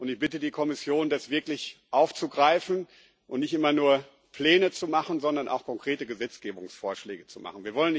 Ich bitte die Kommission, das wirklich aufzugreifen und nicht immer nur Pläne zu machen, sondern auch konkrete Gesetzgebungsvorschläge zu machen.